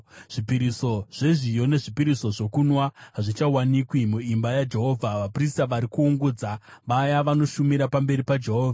Zvipiriso zvezviyo nezvipiriso zvokunwa hazvichawanikwi muimba yaJehovha. Vaprista vari kuungudza, vaya vanoshumira pamberi paJehovha.